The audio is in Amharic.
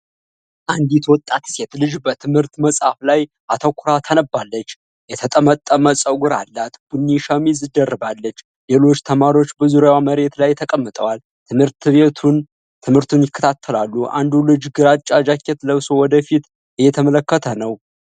አንዲት ወጣት ሴት ልጅ በትምህርት መጽሐፍ ላይ አተኩራ ታነባለች። የተጠመጠመ ፀጉር አላት ቡኒ ሸሚዝ ደርባለች። ሌሎች ተማሪዎች በዙሪያዋ መሬት ላይ ተቀምጠዋል፣ ትምህርቱን ይከታተላሉ። አንዱ ልጅ ግራጫ ጃኬት ለብሶ ወደ ፊት እየተመለከተ ነው።